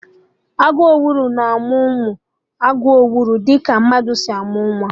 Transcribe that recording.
Agụ owuru na-amụ ụmụ agụ owuru dị ka mmadụ si amụ nwa